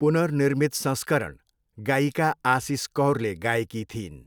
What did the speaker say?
पुनर्निर्मित संस्करण गायिका आसिस कौरले गाएकी थिइन्।